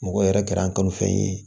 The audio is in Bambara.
Mɔgɔ yɛrɛ kɛra an kanufɛn ye